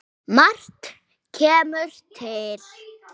Margt kemur til.